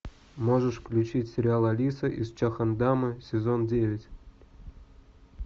можешь включить сериал алиса из чхондама сезон девять